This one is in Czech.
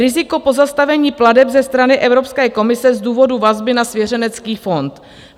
Riziko pozastavení plateb ze strany Evropské komise z důvodu vazby na svěřenský fond.